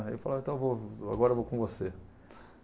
Aí ele falava, então vou agora eu vou com você.